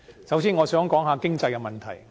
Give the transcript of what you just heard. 首先，我想談談經濟的問題。